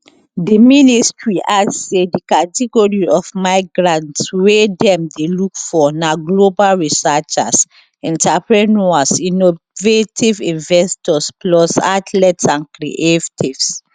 di ministry add say di category of migrants wey dem dey look for na global researchers entrepreneurs innovative investors plus athletes and creatives